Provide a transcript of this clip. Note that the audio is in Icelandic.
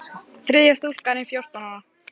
Þriðja stúlkan er fjórtán ára.